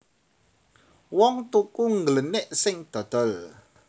Wong tuku ngglenik sing dodol